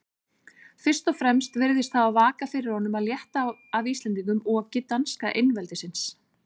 Fyrst og fremst virðist hafa vakað fyrir honum að létta af Íslendingum oki danska einveldisins.